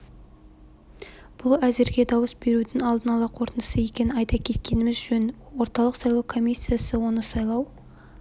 бұл әзірге дауыс берудің алдын ала қорытындысы екенін айта кеткеніміз жөн орталық сайлау комиссиясы оны сайлау